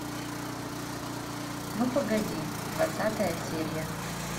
ну погоди двадцатая серия